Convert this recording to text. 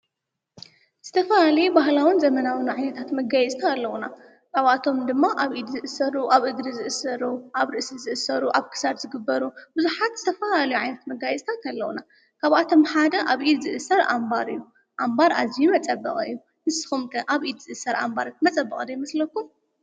ስተፋ ል ባህላውን ዘመናዊን ዓይታት መጋይዝታ ኣለዉና ካብኣቶም ድማ ኣብ ፣ኢድ ዝእሠሩ፣ ኣብ እግሪ ዝእሥሩ ፣ኣብ ርእሲ፣ ዝእሠሩ ኣብ ክሳድ፣ ዝግበሩ ብዙኃት ዝተፋለልዩ ዓይነታትት መጋይዝታት ኣለዉና። ካብኣቶም ሓደ ኣብ ኢድ ዝእሠር ኣምባር እዩ። ኣምባር ኣዙይ መጸበቓዩ ንስኹምቀ ኣብ ኢድ ዝእሠር ኣምባረት መጸበቕ ዶ ይመስለኩም?